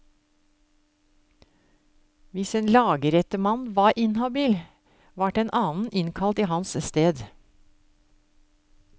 Hvis en lagrettemann var inhabil, vart en annen innkalt i hans sted.